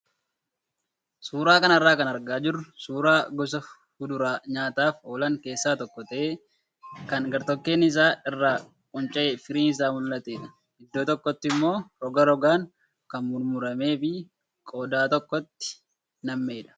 Suuraa kanarraa kan argaa jirru suuraa gosa fuduraa nyaataaf oolan keessaa tokko ta'ee kan gartokkeen isaa irraa qunca'ee firiin isaa mul'atedha. Iddoo tokkotti immoo roga rogaan kan mummuramee fi qodaa tokkotti nam'edha.